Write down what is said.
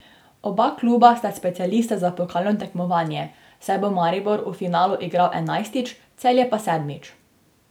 Oba kluba sta specialista za pokalno tekmovanje, saj bo Maribor v finalu igral enajstič, Celje pa sedmič.